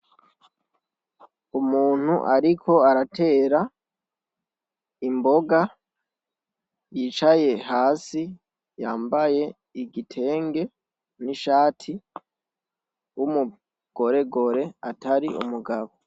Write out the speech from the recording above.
Umuntu ariko aratera imboga yicaye hasi yambaye igitenge n'ishati w'umugoregore atari umugabo.